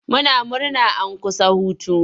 Muna murna an kusa hutu.